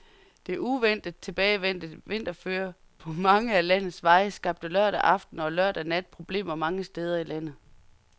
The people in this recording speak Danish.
Det uventet tilbagevendte vinterføre på mange af landets veje skabte lørdag aften og lørdag nat problemer mange steder i landet.